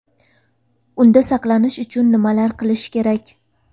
Unda saqlanish uchun nimalar qilish kerak?